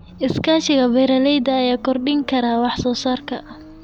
Iskaashiga beeralayda ayaa kordhin kara wax soo saarka.